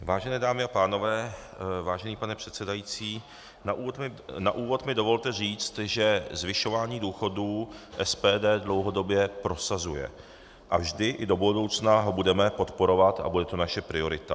Vážené dámy a pánové, vážený pane předsedající, na úvod mi dovolte říct, že zvyšování důchodů SPD dlouhodobě prosazuje a vždy i do budoucna ho budeme podporovat a bude to naše priorita.